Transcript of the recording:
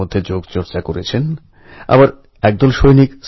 প্রধানমন্ত্রীজী নমস্কার আমার নাম সত্যম